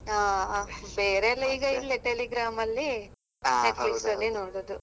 ಹಾ ಆಹ್ ಬೇರೆ ಎಲ್ಲ ಈಗ ಇಲ್ಲೆ Telegram ಅಲ್ಲಿ Netflix ಅಲ್ಲಿ ನೋಡೋದು.